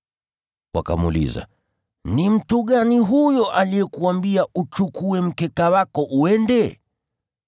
Wakamuuliza, “Ni mtu gani huyo aliyekuambia uchukue mkeka wako uende?”